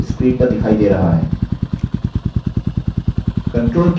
आप देखेंगे कि kannada text screen पर दिखाई दे रहा है